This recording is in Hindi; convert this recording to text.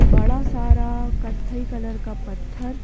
बड़ा सारा कत्थई कलर का पत्थर--